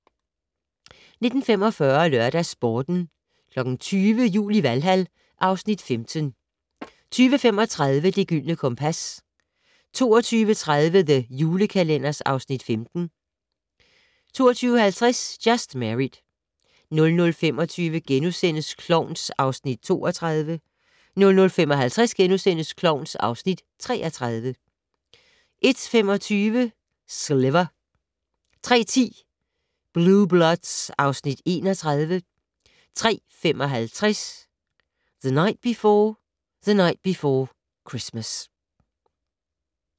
19:45: LørdagsSporten 20:00: Jul i Valhal (Afs. 15) 20:35: Det Gyldne Kompas 22:30: The Julekalender (Afs. 15) 22:50: Just Married 00:25: Klovn (Afs. 32)* 00:55: Klovn (Afs. 33)* 01:25: Sliver 03:10: Blue Bloods (Afs. 31) 03:55: The Night Before the Night Before Christmas